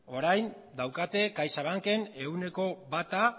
orain daukate caixabanken ehuneko bata